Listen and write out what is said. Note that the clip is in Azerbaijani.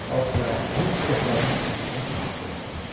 Alça, ərik çiçəklərinin ətrini çəkdi sinəsinə.